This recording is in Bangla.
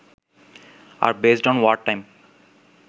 R based on wartime